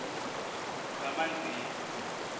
kamanzini